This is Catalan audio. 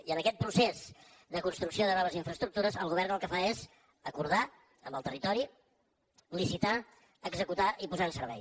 i en aquest procés de construcció de noves infraestructures el govern el que fa és acordar amb el territori licitar executar i posar en servei